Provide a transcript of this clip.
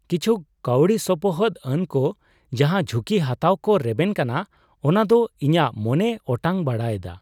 ᱠᱤᱪᱷᱩ ᱠᱟᱹᱣᱰᱤ ᱥᱚᱯᱚᱦᱚᱫᱼᱟᱱ ᱠᱚ ᱡᱟᱦᱟᱸ ᱡᱷᱩᱠᱤ ᱦᱟᱛᱟᱣ ᱠᱚ ᱨᱮᱵᱮᱱ ᱠᱟᱱᱟ ᱚᱱᱟᱫᱚ ᱤᱧᱟᱹᱜ ᱢᱚᱱᱮᱭ ᱚᱴᱟᱝ ᱵᱟᱲᱟᱭ ᱮᱫᱟ ᱾